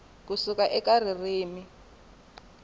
ku suka eka ririmi rin